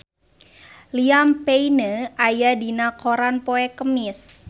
Liam Payne aya dina koran poe Kemis